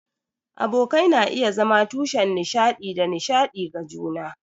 Abokai na iya zama tushen nishaɗi da nishaɗi ga juna.